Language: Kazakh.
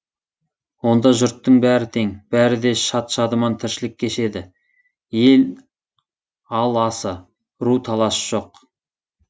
онда жұрттың бәрі тең бәрі де шат шадыман тіршілік кешеді ел ал асы ру таласы жоқ